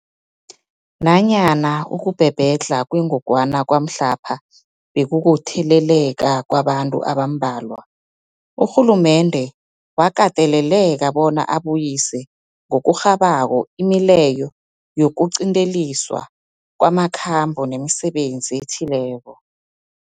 Nanyana ukubhebhedlha kwengogwana kwamhlapha bekukutheleleka kwabantu abambalwa, urhulumende wakateleleka bona abuyise ngokurhabako imileyo yokuqinteliswa kwamakhambo nemisebenzi ethileko.